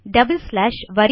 double slash